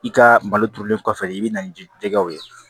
I ka malo turulen kɔfɛ i bɛ na ni jɛgɛw ye